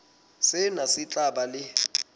sena se tla ba le